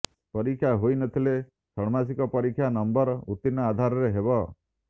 ପରୀକ୍ଷା ହୋଇନଥିଲେ ଷାଣ୍ମାସିକ ପରୀକ୍ଷା ନମ୍ବର ଉତ୍ତୀର୍ଣ୍ଣର ଆଧାର ହେବ